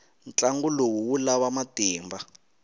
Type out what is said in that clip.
ntlangu lowu wu lava matimba